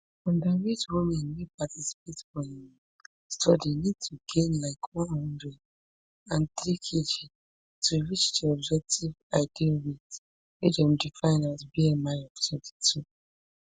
underweight women wey participate for um study need to gain like one hundred and three kg to reach di objective ideal weight wey dem define as bmi of twenty-two